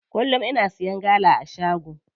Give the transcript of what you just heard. Kullum ina siya gala a shago.